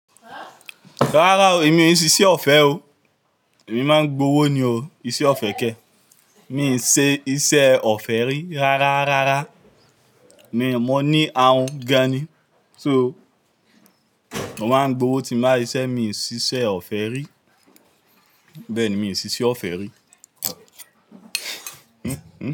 Rárá o, èmi e ṣíṣe ọ̀fẹ́ o, èmi máa ń gbowó ni o, iṣẹ́ ọ̀fẹ́ kẹ́, mi i n ṣe iṣẹ́ ọ̀fẹ́ rí rárá, rárá, mi ò, mo ní ahun gan ni, so mo máa ń gbowó ti n bá ṣiṣẹ́, mi ì ṣiṣẹ́ ọ̀fẹ́ rí, bẹ́ẹ̀ni miì ṣiṣẹ́ ọ̀fẹ́ rí.